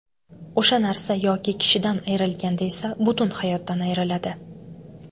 O‘sha narsa yoki kishidan ayrilganda esa butun hayotdan ayriladi.